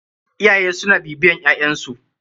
Iyaye suna bibiyan ƴaƴn su.